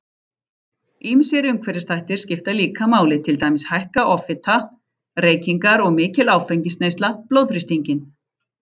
Ýmsir umhverfisþættir skipta líka máli, til dæmis hækka offita, reykingar og mikil áfengisneysla blóðþrýstinginn.